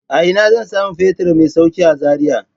A ina zan samu fetur mai sauƙi a Zaria?